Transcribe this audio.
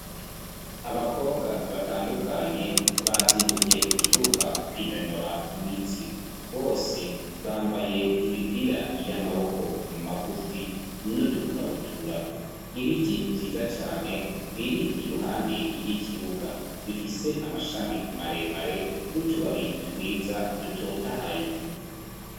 Abakobwa batandukanye bazindukiye ku kibuga kwinonora imitsi bose bambaye imipira y'amaboko magufi n'udukabutura ibiti vyiza cane biri iruhande y'ikibuga bifise amashami maremare n'utubabi twiza dutotahaye